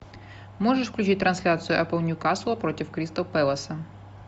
можешь включить трансляцию апл ньюкасла против кристал пэласа